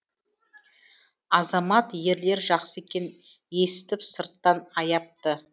азамат ерлер жақсы екен есітіп сырттан аяпты